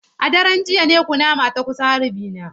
A daren jiya ne kunama ta kusa harbi na.